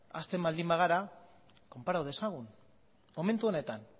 hasten baldin bagara konpara dezagun momentu honetan